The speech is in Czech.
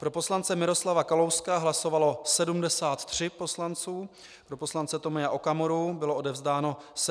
Pro poslance Miroslava Kalouska hlasovalo 73 poslanců, pro poslance Tomia Okamuru bylo odevzdáno 75 hlasů.